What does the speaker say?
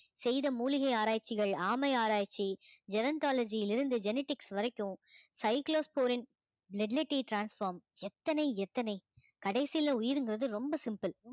செய்த மூலிகை ஆராய்ச்சிகள் ஆமை ஆராய்ச்சி gerontology யில் இருந்து genetics வரைக்கும் cyclosporine transform எத்தன எத்தனை கடைசில உயிருங்கிறது ரொம்ப simple